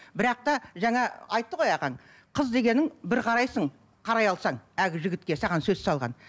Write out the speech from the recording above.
бірақ та жаңа айтты ғой ағаң қыз дегенің бір қарайсың қарай алсаң әлгі жігітке саған сөз салған